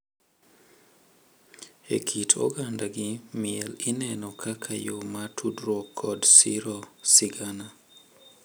E kit oganda gi, miel ineno kaka yo mar tudruok kod siro sigana,